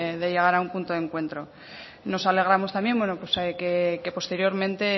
de llegar a un punto de encuentro nos alegramos también que posteriormente